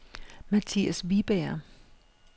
Matthias Wiberg